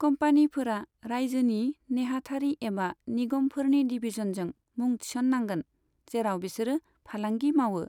कम्पानिफोरा रायजोनि नेहाथारि एबा निगमफोरनि डिभिजनजों मुं थिसननांगोन, जेराव बिसोरो फालांगि मावो।